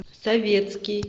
советский